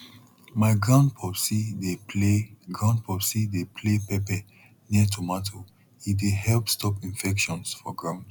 my grandpopsi dey play grandpopsi dey play pepper near tomato e dey help stop infections for ground